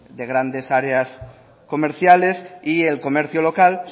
de grandes áreas comerciales y el comercio local